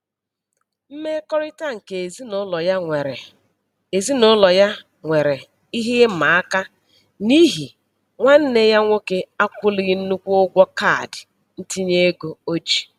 Mmekọrịta nke ezinụlọ ya nwere ezinụlọ ya nwere ihe ịmaaka n'ihi nwanne ya nwoke akwụlighị nnukwu ụgwọ kaadị ntinyeego ya o ji.